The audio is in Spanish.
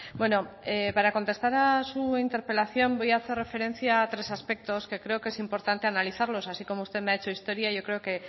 bueno para contestar a su interpelación voy a hacer referencia a tres aspectos que creo que es importante analizarlos así como usted me ha hecho historia yo creo que